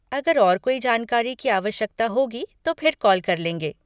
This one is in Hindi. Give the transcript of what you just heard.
अगर और कोई जानकारी की आवश्यकता होगी तो फिर कॉल कर लेंगे।